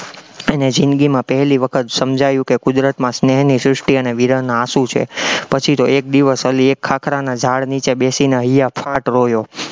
એને જિંદગીમાં પહેલી વખત સમજાયું કે કુદરતમાં સ્નેહની સૃષ્ટિ અને વિરહનો આંસુ છે, પછી તો એક દિવસ અલી એક ખાખરાના ઝાડ નીચે બેસીને હૈયાફાટ રોયો.